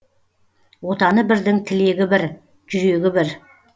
отаны бірдің тілегі бір жүрегі бір